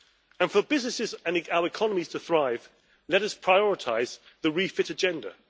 And for our businesses and economies to thrive, let us prioritise the REFIT agenda.